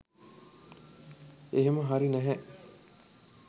එහෙම හරි නැහැ